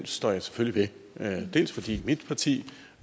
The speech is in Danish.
står jeg selvfølgelig ved fordi mit parti